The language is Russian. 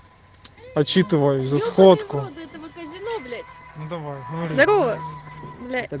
отчитываюсь за сходку давай блять